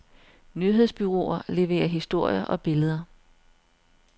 Nyhedsbureauer leverer historier og billeder.